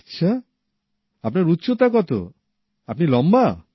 আচ্ছা আপনার উচ্চতা কত আপনি লম্বা